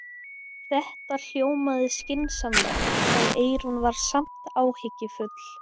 Þetta hljómaði skynsamlega en Eyrún var samt áhyggjufull.